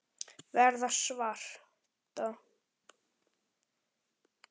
Verða svarta.